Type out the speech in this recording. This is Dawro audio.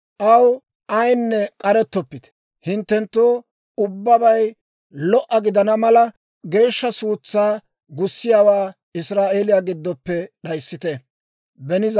Aw ayinne k'arettoppite; hinttenttoo ubbabay lo"a gidana mala, geeshsha suutsaa gussiyaawaa Israa'eeliyaa giddoppe d'ayissite.